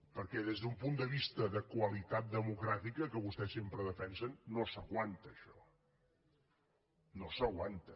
perquè des d’un punt de vista de qualitat democràtica que vostès sempre defensen no s’aguanta això no s’aguanta